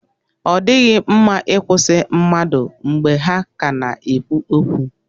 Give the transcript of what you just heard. Ọ dịghị mma ị kwụsị mmadụ mgbe ha ka na-ekwu okwu.